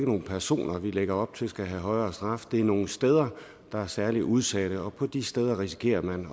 nogle personer vi lægger op til skal have en højere straf det er nogle steder der er særligt udsatte og på de steder risikerer man